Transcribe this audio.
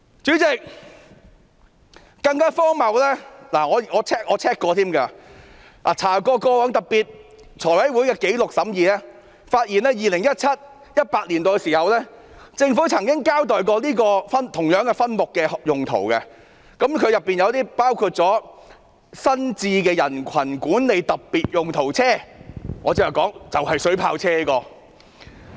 主席，更荒謬的是，我翻查財務委員會過往的審議紀錄，發現在 2017-2018 年度，政府曾經交代這個分目的用途，包括新置的人群管理特別用途車，即我剛才說的水炮車。